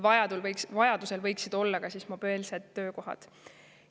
Vajadusel võiksid olla ka mobiilsed töökohad.